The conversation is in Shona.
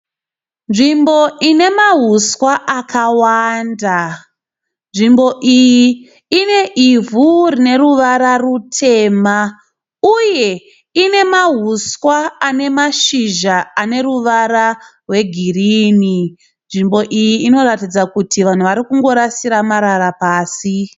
Nzvimbo inemauswa akawanda, nzvimbo iyi ine ivhu rine ruvara rutema uye inemauswa ane mashizha ane ruvara rwegirini. Nzvimbo iyi inoratidza kuti vanhu varikungorasira marara pasi.